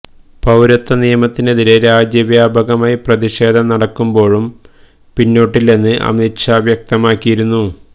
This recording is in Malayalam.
പൌരത്വ നിയമത്തിനെതിരെ രാജ്യ വ്യാപകമായി പ്രതിഷേധം നടക്കുമ്പോഴും പിന്നോട്ടില്ലെന്ന് അമിത് ഷാ വ്യക്തമാക്കിയിരുന്നു